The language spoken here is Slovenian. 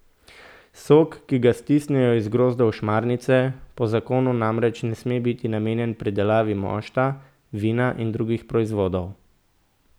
Sok, ki ga stisnejo iz grozdov šmarnice, po zakonu namreč ne sme biti namenjen pridelavi mošta, vina in drugih proizvodov.